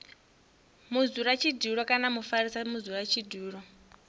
mudzulatshidulo kana na mufarisa mudzulatshidulo